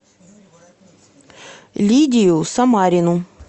лидию самарину